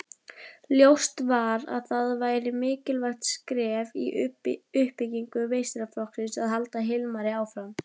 Ljóst var að það væri mikilvægt skref í uppbyggingu meistaraflokksins að halda Hilmari áfram.